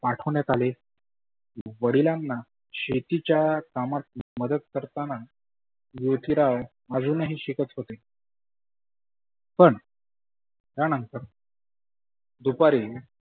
पाठवण्यात आले. वडीलांना शेतीच्या कामात मदत करताना ज्योतीराव अजुनही शिकत होते. पण त्या नंतर दुपारी